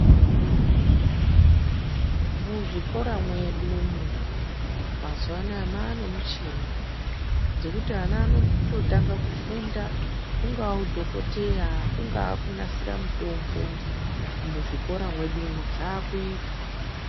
Muzvikora mwedu umu, mazuwanaya manemuchini, dzekuti ana anototanga kufunda , ungawudhokoteya, kungakunasira mutombo, muzvikora medu mo, zvakuyitwa.